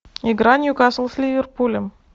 игра ньюкасл с ливерпулем